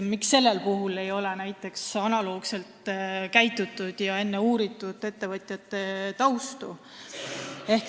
Miks sellel puhul näiteks analoogselt ei käitutud ja enne ettevõtjate tausta ei uuritud?